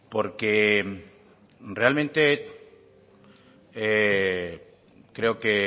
porque realmente creo que